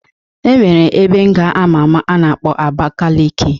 E nwere ebe nga ama ama a na-akpọ Abakaleke